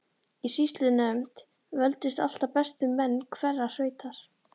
Í sýslunefnd völdust alltaf bestu menn hverrar sveitar.